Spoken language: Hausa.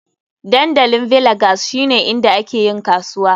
Dandalin Villagers shine inda ake yin kasuwa.